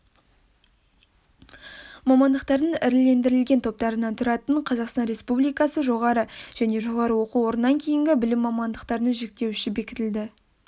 мамандықтардың ірілендірілген топтарынан тұратын қазақстан республикасы жоғары және жоғары оқу орнынан кейінгі білім мамандықтарының жіктеуіші бекітілді